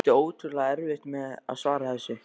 Átti ótrúlega erfitt með að svara þessu.